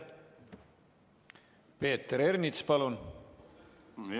Peeter Ernits, palun!